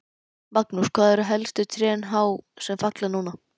Magnús: Hvað eru hæstu trén há sem falla núna?